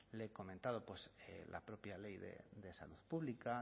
le he comentado pues la propia ley de salud pública